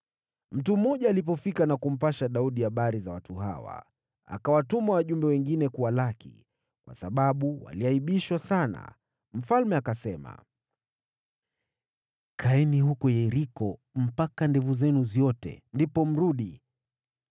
Mtu mmoja alipofika na kumpasha Daudi habari za watu hawa, akawatuma wajumbe wengine kuwalaki, kwa maana walikuwa wamevunjiwa heshima sana. Mfalme akasema, “Kaeni huko Yeriko mpaka ndevu zenu ziote, ndipo mje.”